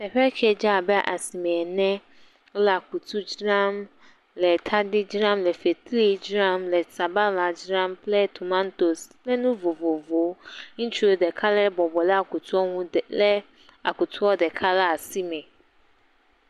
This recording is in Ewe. Teƒe kɛ dze abe asime ene. Wole akutu dzram, le tadi dzram, le fetri dzram, le sabala dzram kple tomatosi kple nu vovovowo. Ŋutsu ɖeka ɖe bɔbɔ ɖe akutua ŋu le akutua ɖeka le asi me.